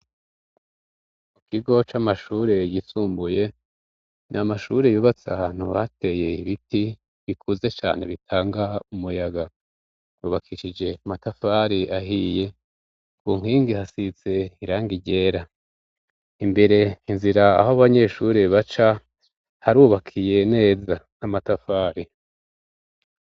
Mu kigo c'amashuri yisumbuye ,n' amashuri yubats' ahantu bateye ibiti bikuze cane bitangaho umuyaga rubakishije matafar'ahiye ku nkingi hasitse irangi ryera, imbere inzira aho abanyeshuri baca ,harubakiye neza n'amatafari